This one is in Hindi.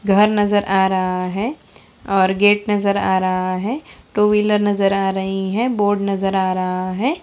घर नजर आ रहा है और गेट नजर आ रहा है| टू विलर नजर आ रही है बोर्ड नजर आ रहा है।